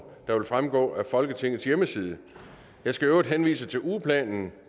der vil fremgå af folketingets hjemmeside jeg skal øvrigt henvise til ugeplanen